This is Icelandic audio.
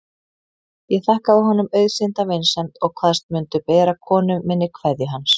Ég þakkaði honum auðsýnda vinsemd og kvaðst mundu bera konu minni kveðju hans.